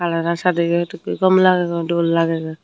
jagan sadeyet gom lagegoi dol lagegoi.